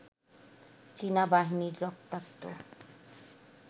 চীনা বাহিনীর রক্তাক্ত